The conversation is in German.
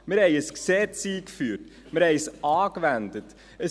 Wir führten ein Gesetz ein, wir wandten es an;